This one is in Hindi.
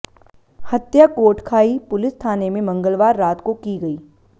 हत्या कोटखाई पुलिस थाने में मंगलवार रात को की गई